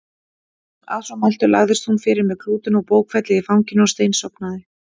Að svo mæltu lagðist hún fyrir með klútinn og bókfellið í fanginu og steinsofnaði.